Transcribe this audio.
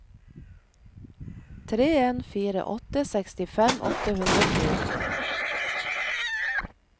tre en fire åtte sekstifem åtte hundre og to